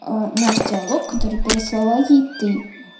наш диалог который переслала ей ты